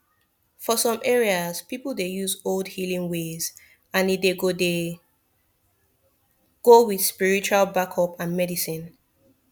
for some areas people dey use old healing ways and e dey go dey go with spiritual backup and medicine